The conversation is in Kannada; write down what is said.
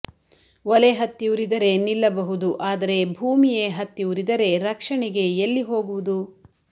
ಒಲೆ ಹತ್ತಿ ಉರಿದರೆ ನಿಲ್ಲಬಹುದು ಆದರೆ ಭೂಮಿಯೇ ಹತ್ತಿ ಉರಿದರೆ ರಕ್ಷಣೆಗೆ ಎಲ್ಲಿ ಹೋಗುವುದು